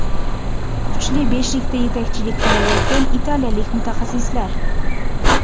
Kuchli beshlikda yetakchilik qilayotgan italiyalik mutaxassislar.